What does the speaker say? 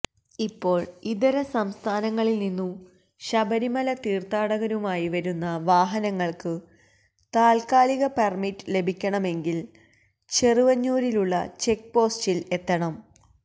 ഇപ്പോള് ഇതര സംസ്ഥാനങ്ങളില് നിന്നു ശബരിമല തീര്ഥാടകരുമായി വരുന്ന വാഹനങ്ങള്ക്കു താല്ക്കാലിക പെര്മിറ്റു ലഭിക്കണമെങ്കില് ചെറുവഞ്ഞൂരിലുള്ള ചെക്ക് പോസ്റ്റില് എത്തണം